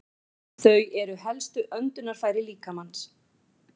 Þau eru helstu öndunarfæri líkamans.